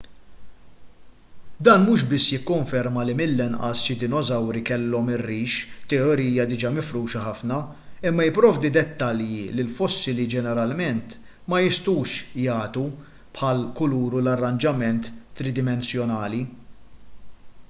dan mhux biss jikkonferma li mill-inqas xi dinosawri kellhom ir-rix teorija diġà mifruxa ħafna imma jipprovdi dettalji li l-fossili ġeneralment ma jistgħux jagħtu bħall-kulur u l-arranġament tridimensjonali